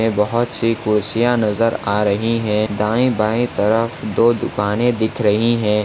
यह बहोत सी कुर्सिया नजर आ रही है दाएं बाएं तरफ दो दुकाने दिख रही है।